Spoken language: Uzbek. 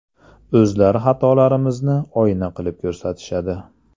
O‘zlari xatolarimizni oyna qilib ko‘rsatishadi.